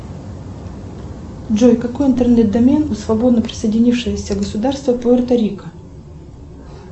джой какой интернет домен у свободно присоединившегося государства пуэрто рико